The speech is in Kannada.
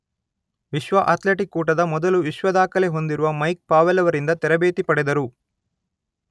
ವಿಶ್ವ ಅಥ್ಲೆಟಿಕ್ಸ್ ಕೂಟದ ಮೊದಲು ವಿಶ್ವ ದಾಖಲೆ ಹೊಂದಿರುವ ಮೈಕ್ ಪಾವೆಲ್ ರವರಿಂದ ತರಬೇತಿ ಪಡೆದರು.